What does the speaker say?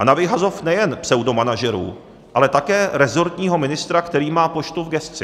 A na vyhazov nejen pseudomanažerů, ale také rezortního ministra, který má poštu v gesci.